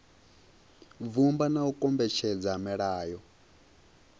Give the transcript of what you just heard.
vhumba na u kombetshedza milayo